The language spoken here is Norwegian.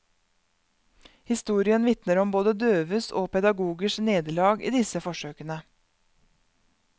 Historien vitner om både døves og pedagogers nederlag i disse forsøkene.